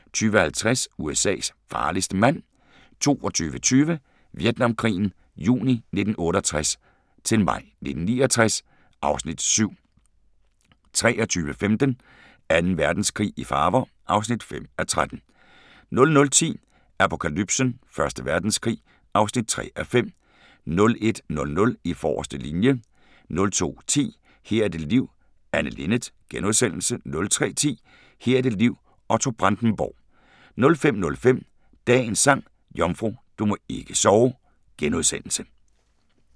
20:50: USA's farligste mand 22:20: Vietnamkrigen juni 1968-maj 1969 (Afs. 7) 23:15: Anden Verdenskrig i farver (5:13) 00:10: Apokalypsen: Første Verdenskrig (3:5) 01:00: I forreste linje 02:10: Her er dit liv – Anne Linnet * 03:10: Her er dit liv – Otto Brandenburg 05:05: Dagens Sang: Jomfru, du må ikke sove *